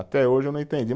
Até hoje eu não entendi.